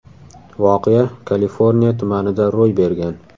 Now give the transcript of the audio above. Voqea Kaliforniya tumanida ro‘y bergan.